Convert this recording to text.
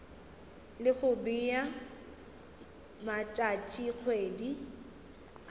le go bea matšatšikgwedi a